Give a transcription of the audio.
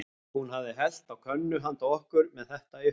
Hún hafi hellt á könnu handa okkur, með þetta í huga.